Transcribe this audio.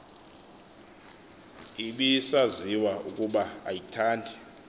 ibisaziwa ukuba ayithandi